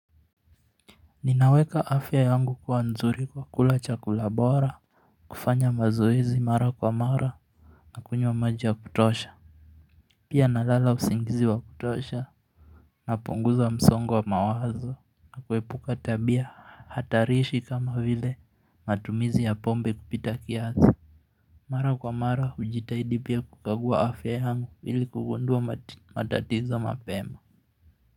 Ninaweka afya yangu kuwa nzuri kwa kula chakula bora kufanya mazoezi mara kwa mara na kunywa maji ya kutosha Pia nalala usingizi wa kutosha napunguza msongo wa mawazo, kuepuka tabia hatarishi kama vile matumizi ya pombe kupita kiasi Mara kwa mara hujitahidi pia kukagua afya yangu ili kugundua matatizo mapema.